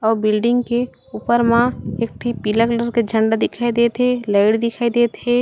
अउ बिल्डिंग के ऊपर मा एक ठी पीला कलर के झंडा दिखाई देत हे लाइट दिखाई देत हे।